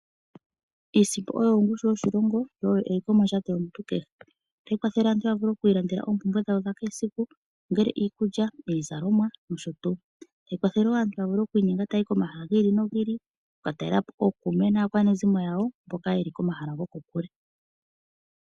Iisimpo oyo ongushu yoshilongo yo oyo eliko mondjato yomuntu kehe. Ohayi kwathele aantu okwii landela oompumbwe dhawo dha kehesiku ongele iikulya, iizalomwa nosho tuu. Ohayi kwathele wo aantu okwiinyenga okuya komahala gi ili nogi ili oku talela po okuume naakwanezimo yawo mboka ye li komahala goko kule.